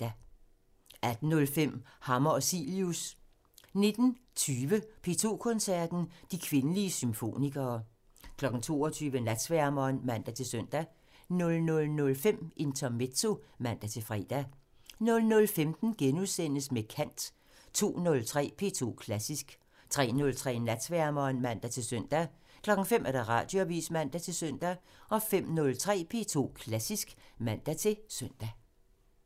18:05: Hammer og Cilius (man) 19:20: P2 Koncerten – De kvindelige symfonikere 22:00: Natsværmeren (man-søn) 00:05: Intermezzo (man-fre) 00:15: Med kant *(man) 02:03: P2 Klassisk (man-tor) 03:03: Natsværmeren (man-søn) 05:00: Radioavisen (man-søn) 05:03: P2 Klassisk (man-søn)